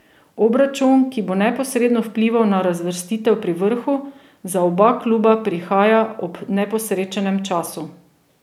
Obračun, ki bo neposredno vplival na razvrstitev pri vrhu, za oba kluba prihaja ob neposrečenem času.